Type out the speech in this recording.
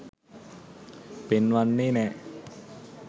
පෙන්වන්නෙ නෑ.